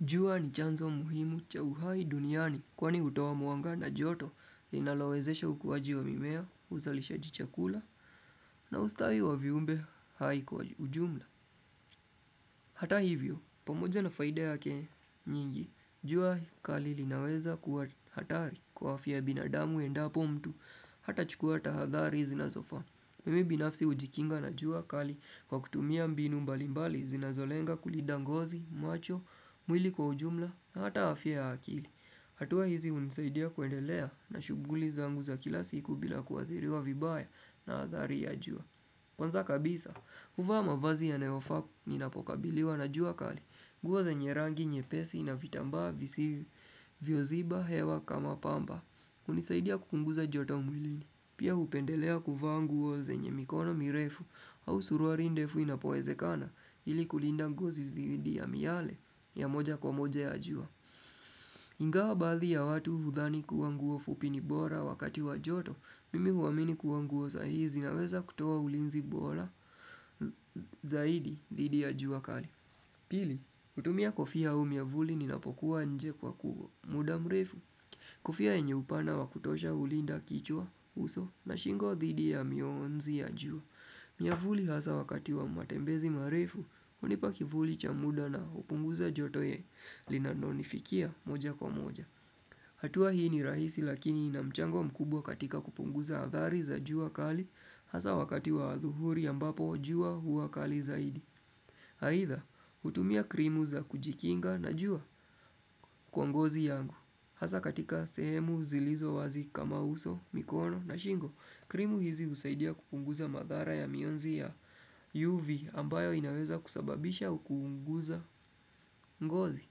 Jua ni chanzo muhimu cha uhai duniani kwani hutoa mwanga na joto linalowezesha ukuwaji wa mimea uzalishaji chakula na ustawi wa viumbe hai kwa ujumla. Hata hivyo, pamoja na faida yake nyingi, jua kali linaweza kua hatari kwa afya ya bina damu endapo mtu hatachukua tahadhari zinazofaa. Mimi binafsi ujikinga na jua kali kwa kutumia mbinu mbalimbali zinazolenga kulinda ngozi, macho, mwili kwa ujumla na hata afya ya akili. Hatua hizi unisaidia kuendelea na shughuli zangu za kila siku bila kuathiriwa vibaya na adhari ya jua. Kwanza kabisa, huvaa mavazi yanayofaa ninapokabiliwa na jua kali. Nguo zenye rangi, nyepesi na vitambaa visi vyooziba hewa kama pamba. Kunisaidia kupunguza joto umwilini, pia upendelea kuvaa nguo zenye mikono mirefu au suruwali ndefu inapowezekana ili kulinda ngozi dhidi ya miale ya moja kwa moja ya jua. Ingawa baadhi ya watu hudhani kuanguo fupi ni bora wakati wa joto, mimi huamini kuwa nguo za hizi zinaweza kutoa ulinzi bora zaidi dhidi ya jua kali. Pili, utumia kofia au miavuli ninapokuwa nje kwa ku muda mrefu. Kofia yenye upana wa kutosha ulinda kichwa uso na shingo dhidi ya mionzi ya jua. Miavuli hasa wakati wa matembezi marefu unipa kivuli cha muda na upunguza joto ya linanonifikia moja kwa moja. Hatua hii ni rahisi lakini inamchango mkubwa katika kupunguza adhari za jua kali, hasa wakati wa adhuhuri ambapo jua hua kali zaidi. Haidha, hutumia krimu za kujikinga na jua kwa ngozi yangu. Hasa katika sehemu zilizo wazi kama uso, mikono na shingo, krimu hizi usaidia kupunguza madhara ya mionzi ya UV ambayo inaweza kusababisha au kuunguza ngozi.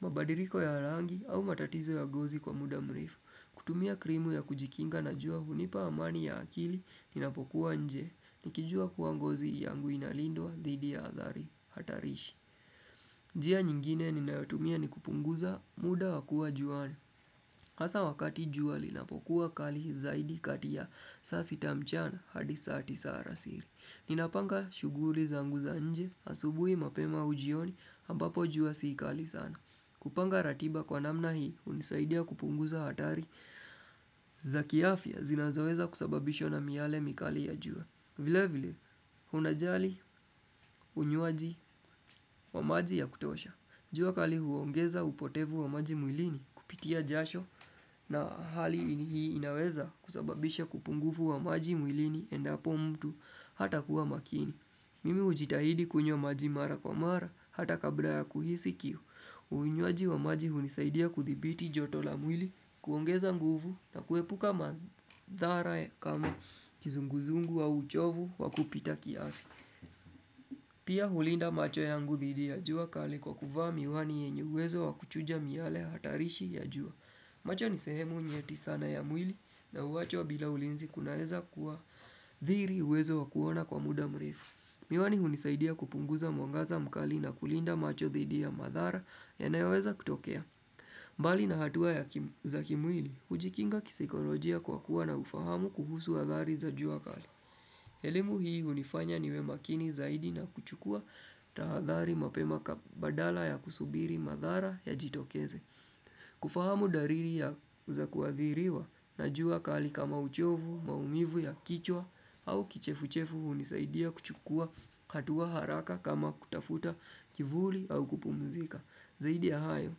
Mabadiliko ya rangi au matatizo ya ngozi kwa muda mrefu kutumia krimu ya kujikinga na jua hunipa amani ya akili Ninapokuwa nje nikijua kuwa ngozi yangu inalindwa dhidi ya adhari hatarishi njia nyingine ninayotumia ni kupunguza muda wa kuwa juani hasa wakati jua linapokuwa kali zaidi kati ya saa sita mchana hadi saa tisa alasiri Ninapanga shughuli zangu za nje asubuhi mapema au jioni ambapo jua si kali sana kupanga ratiba kwa namna hii unisaidia kupunguza hatari za kiafya zinazaweza kusababishwa na miale mikali ya jua. Vile vile, unajali unywaji wa maji ya kutosha. Jua kali huongeza upotevu wa maji mwilini kupitia jasho na hali hii inaweza kusababisha kupungufu wa maji mwilini endapo mtu hata kuwa makini. Mimi ujitahidi kunywa maji mara kwa mara, hata kabla ya kuhisi kiu. Uinywaji wa maji hunisaidia kudhibiti joto la mwili, kuongeza nguvu na kuepuka madhara ya kama kizunguzungu au uchovu wa kupita kiasi. Pia hulinda macho yangu dhidi ya jua kali kwa kuvaa miwani yenye uwezo wa kuchuja miale hatarishi ya jua. Macho nisehemu nyeti sana ya mwili na huwacho bila ulinzi kunaeza kuwa dhiri uwezo wa kuona kwa muda mrefu. Miwani hunisaidia kupunguza mwangaza mkali na kulinda macho dhidi ya madhara yanayoweza kutokea. Mbali na hatua ya za kimwili, ujikinga kisaikolojia kwa kuwa na ufahamu kuhusu hadhari za jua kali. Elimu hii hunifanya niwe makini zaidi na kuchukua tahadhari mapema badala ya kusubiri madhara yajitokeze. Kufahamu dalili ya za kuadhiriwa na jua kali kama uchovu, maumivu ya kichwa au kichefu-chefu unisaidia kuchukua hatua haraka kama kutafuta kivuli au kupumuzika Zaidi ya hayo,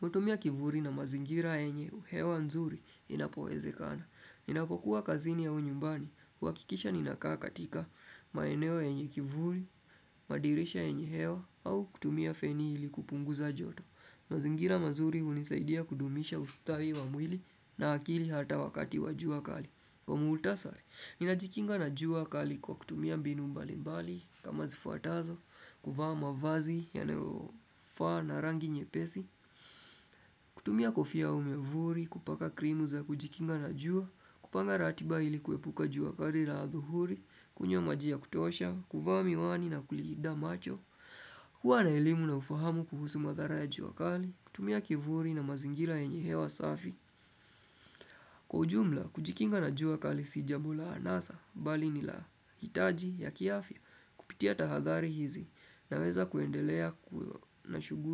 kutumia kivuli na mazingira yenye hewa nzuri inapowezekana Ninapokuwa kazini au nyumbani, huakisha ninakaa katika maeneo yenye kivuli, madirisha yenye hewa au kutumia feni ili kupunguza joto mazingira mazuri unisaidia kudumisha ustawi wa mwili na akili hata wakati wajua kali. Kwa muktasari, ninajikinga na jua kali kwa kutumia mbinu mbali mbali kama zifuatazo, kuvaa mavazi yanayofaa na rangi nyepesi, kutumia kofia au mwavuli kupaka krimu za kujikinga na jua, kupanga ratiba ili kuepuka juu kali la adhuhuri, kunywa maji ya kutosha, kuvaa miwani na kulinda macho, Kwa na elimu na ufahamu kuhusu madhara ya juakali, kutumia kivuli na mazingira yenye hewa safi Kwa ujumla, kujikinga na jua kali sijambo la anasa, bali nila hitaji ya kiafya, kupitia tahadhari hizi na weza kuendelea na shughuli.